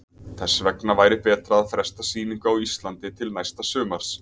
Þess vegna væri betra að fresta sýningu á Íslandi til næsta sumars.